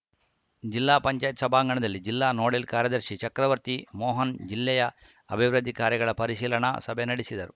ಜಿಲ್ಲಾ ಪಂಚಾಯತ್‌ ಸಭಾಂಗಣದಲ್ಲಿ ಜಿಲ್ಲಾ ನೋಡಲ್‌ ಕಾರ್ಯದರ್ಶಿ ಚಕ್ರವರ್ತಿ ಮೋಹನ್‌ ಜಿಲ್ಲೆಯ ಅಭಿವೃದ್ಧಿ ಕಾರ್ಯಗಳ ಪರಿಶೀಲನಾ ಸಭೆ ನಡೆಸಿದರು